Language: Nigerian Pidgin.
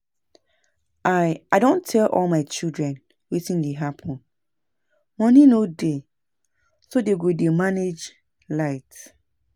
I I don tell all my children wetin dey happen. Money no dey so dey go dey manage light